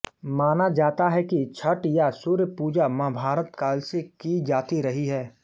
माना जाता है कि छठ या सूर्य पूजा महाभारत काल से की जाती रही है